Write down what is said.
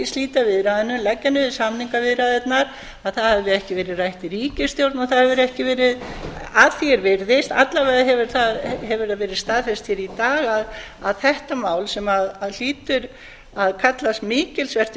slíta viðræðunum leggja niður samningaviðræðurnar að það hefði ekki verið rætt í ríkisstjórn og það hefur ekki verið að því er virðist alla vega hefur það verið staðfest hér í dag að þetta mál sem hlýtur að kallast mikilsvert